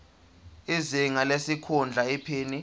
izinga lesikhundla iphini